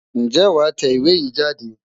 Ǹjẹ́ wàá tẹ ìwé yìí jáde?